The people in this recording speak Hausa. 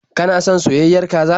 Kana son soyayyiyar kaza?